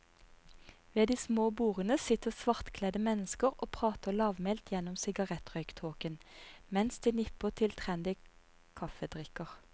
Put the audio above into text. Ved de små bordene sitter svartkledde mennesker og prater lavmælt gjennom sigarettrøyktåken, mens de nipper til trendy kaffedrikker.